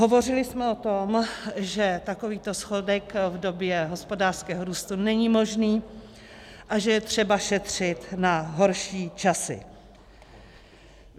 Hovořili jsme o tom, že takovýto schodek v době hospodářského růstu není možný a že je třeba šetřit na horší časy.